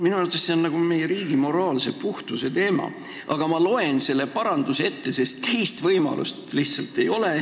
Minu arvates on see meie riigi moraalse puhtuse teema, aga ma loen selle paranduse ette, sest teist võimalust lihtsalt ei ole.